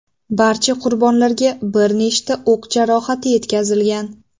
Barcha qurbonlarga bir nechta o‘q jarohati yetkazilgan.